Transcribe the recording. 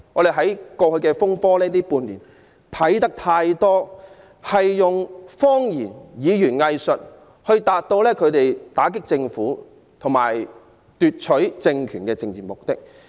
在過去半年的修例風波中，他們多次以謊言及語言"偽術"達到打擊政府和奪取政權的政治目的。